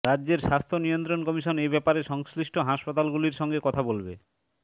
রাজ্যের স্বাস্থ্য নিয়ন্ত্রণ কমিশন এব্যাপারে সংশ্লিষ্ট হাসপাতাল গুলির সঙ্গে কথা বলবে